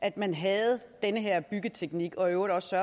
at man havde den her byggeteknik og i øvrigt også